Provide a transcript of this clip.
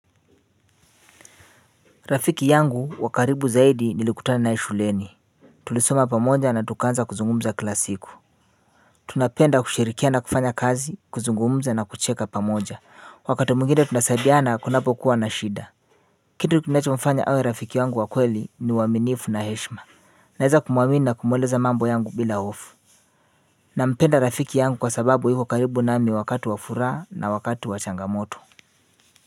Rafiki yangu wakaribu zaidi nilikutana naye shuleni. Tulisoma pamoja na tukaanza kuzungumza kila siku. Tunapenda kushirikiana kufanya kazi kuzungumza na kucheka pamoja. Wakati mwingine tunasaidiana kunapo kuwa na shida. Kitu kinachofanya awe rafiki yangu wa kweli ni uaminifu na heshma. Naweza kumuamini na kumueleza mambo yangu bila hofu. Nampenda rafiki yangu kwa sababu yuko karibu nami wakati wa furaha na wakati wa changamoto.